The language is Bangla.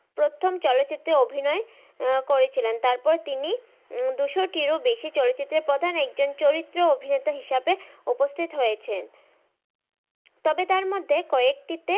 প্রথম চলচিত্রে অভিনয় করেছিলেন তারপর তিনি উম দুশো টির ও বেশি চলচিত্রে প্রধান একটি চরিত্র অভিনেতা হিসেবে উপস্থিত হয়েছেন। তবে তার মধ্যে কয়েকটিতে,